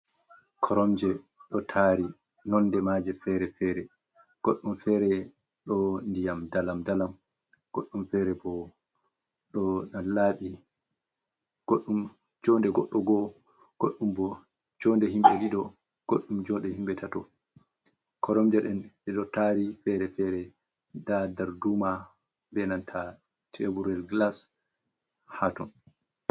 Koromje do tari nonɗe maje fere-fere goɗɗum fere do diyam dalamdalam ,goɗɗumol fere bo do dan labi goɗɗum jonde goɗɗo go, goɗɗum bo jode himɓe ɗiɗo goɗɗum jode himɓe tato, koromje den ɗiɗo tari fere fere da dar duma benanta tebural glas haton.